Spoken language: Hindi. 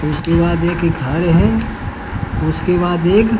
उसके बाद एक घर है उसके बाद एक--